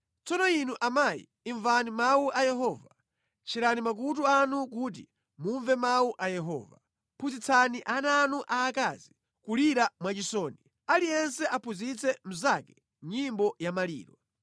Tsono inu amayi, imvani mawu a Yehova; tcherani makutu anu kuti mumve mawu a Yehova. Phunzitsani ana anu aakazi kulira mwachisoni; aliyense aphunzitse mnzake nyimbo ya maliro.